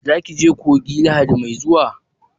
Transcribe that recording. Za ki je coki Lahadi mai zuwa?